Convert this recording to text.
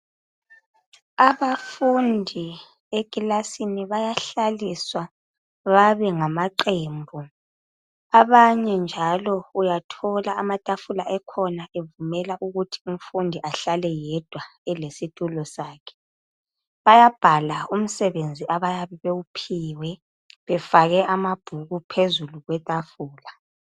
Abafundi ekilasini bayahlaliswa babe ngamaqembu abanye njalo uyathola amatafula ekhona evumela ukuthi umfundi ahlale yedwa elesitulo sakhe. Bayabhala umsebenzi abayabe bewuphiwe befake amabhuku phezulu kwetafula.